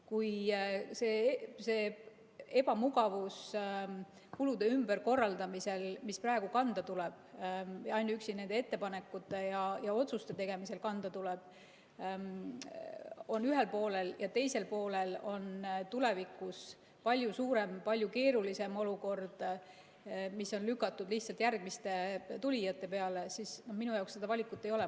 Kui see ebamugavus kulutuste ümberkorraldamisel, mis praegu kanda tuleb, ainuüksi nende ettepanekute ja otsuste tegemisel kanda tuleb, on ühel poolel ja teisel poolel on tulevikus palju suurem, palju keerulisem olukord, mis on lükatud lihtsalt järgmiste tulijate peale, siis minu jaoks seda valikut ei ole.